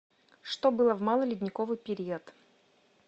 что было в малый ледниковый период